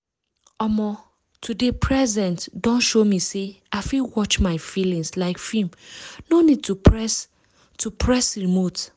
omo to dey present don show me say i fit watch my feelings like film no need to press to press remote.